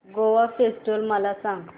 Goa festival मला सांग